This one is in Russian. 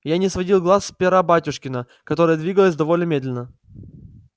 я не сводил глаз с пера батюшкина которое двигалось довольно медленно